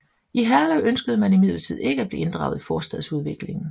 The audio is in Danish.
I Herlev ønskede man imidlertid ikke at blive inddraget i forstadsudviklingen